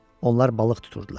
Onlar balıq tuturdular.